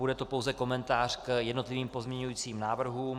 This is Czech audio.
Bude to pouze komentář k jednotlivým pozměňovacím návrhům.